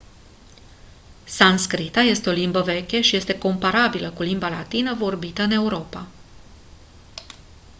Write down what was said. sanscrita este o limbă veche și este comparabilă cu limba latină vorbită în europa